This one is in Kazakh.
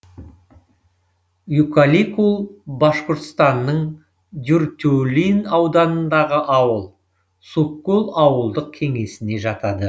юкаликул башқұртстанның дюртюлин ауданындағы ауыл суккул ауылдық кеңесіне жатады